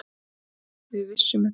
Við vissum þetta.